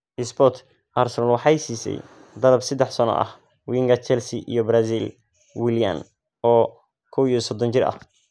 (Sport) Arsenal waxay siisay dalab saddex sano ah winga Chelsea iyo Brazil, Willian, oo 31 jir ah.